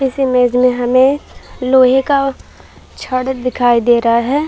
इस इमेज मे हमे लोहे का छड़ दिखाई दे रहा है।